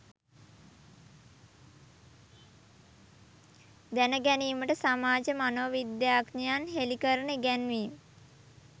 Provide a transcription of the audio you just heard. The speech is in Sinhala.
දැන ගැනීමට සමාජ මනෝවිද්‍යාඥයන් හෙළි කරන ඉගැන්වීම්